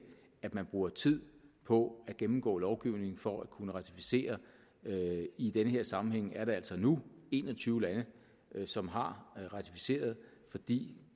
at man bruger tid på at gennemgå lovgivningen for at kunne ratificere i den her sammenhæng er det altså nu en og tyve lande som har ratificeret fordi